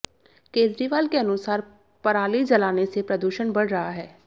केजरीवाल के अनुसार पराली जलाने से प्रदूषण बढ़ रहा है